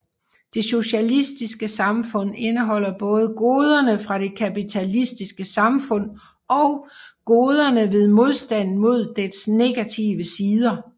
Det socialistiske samfund indeholder både goderne fra det kapitalistiske samfund og goderne ved modstanden mod dets negative sider